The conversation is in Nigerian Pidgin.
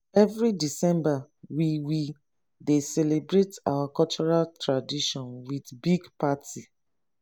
every december we we dey celebrate our cultural tradition with big party